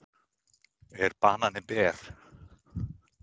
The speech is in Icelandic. Er banani ber?